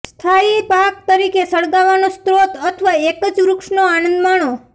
સ્થાયી પાક તરીકે સળગાવવાનો સ્રોત અથવા એક જ વૃક્ષનો આનંદ માણો